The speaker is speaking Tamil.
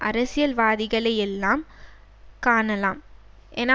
அரசியல்வாதிகளை எல்லாம் காணலாம் என